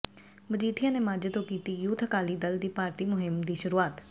ਮਜੀਠੀਆ ਨੇ ਮਾਝੇ ਤੋਂ ਕੀਤੀ ਯੂਥ ਅਕਾਲੀ ਦਲ ਦੀ ਭਰਤੀ ਮੁਹਿੰਮ ਦੀ ਸ਼ੁਰੂਆਤ